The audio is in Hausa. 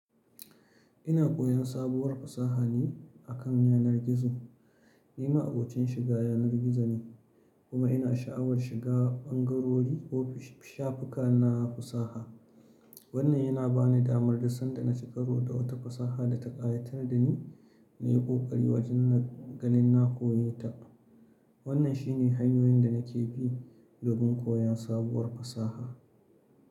Ina koyan sabuwar fasaha ne akan yanar gizo. Ni ma'abocin shiga yanar gizo ne, kuma ina sha'awar shiga ɓangarori ko shafuka na fasaha. Wannan yana ba ni damar da sanda na ci karo da wata fasaha da ta ƙayatar da ni na yi ƙoƙari wajen na ganin na koyo ta. Wannan shine hanyoyin da nake bi don koyon sabuwar fasaha.